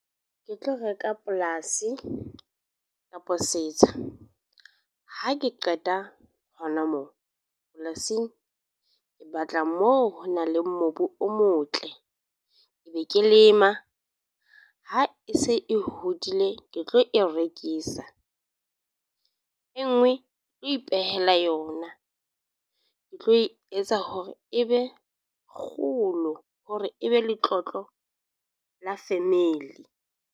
Ke tlo reka polasi kapa setsha ha ke qeta hona moo polasing ke batla moo ho nang le mobu o motle, e be ke lema ha e se e hodile ke tlo e rekisa, e nngwe ke tlo ipehela yona, ke tlo e etsa hore e be kgolo hore e be letlotlo la family.